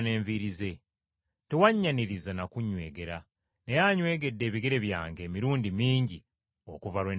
Tewannyanirizza na kunnywegera, naye anywegedde ebigere byange emirundi mingi okuva lwe nayingidde.